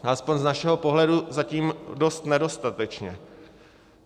Aspoň z našeho pohledu zatím dost nedostatečně.